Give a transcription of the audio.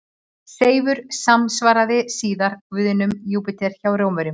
Seifur samsvaraði síðar guðinum Júpíter hjá Rómverjum.